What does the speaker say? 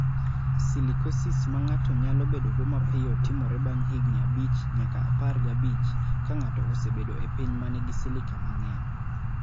Silicosis ma ng�ato nyalo bedogo mapiyo timore bang� higni abich nyaka apar gi abich ka ng�ato osebedo e piny ma nigi silica mang�eny.